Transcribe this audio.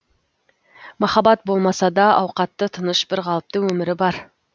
махаббат болмаса да ауқатты тыныш бірқалыпты өмірі бар